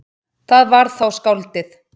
Það var þá skáldið.